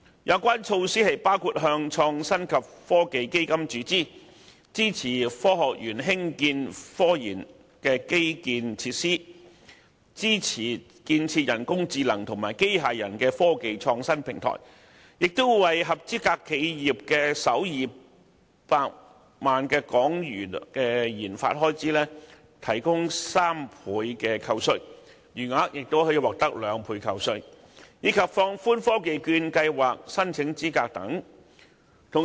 有關措施包括向創新及科技基金注資；支持科學園興建科研基建及設施；支持建設人工智能和機械人科技創新平台；為合資格企業的首200萬港元研發開支，提供3倍扣稅，餘額亦可獲得兩倍扣稅，以及放寬科技券計劃申請資格等。